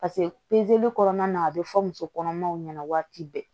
Paseke kɔnɔna na a bɛ fɔ muso kɔnɔmaw ɲɛna waati bɛɛ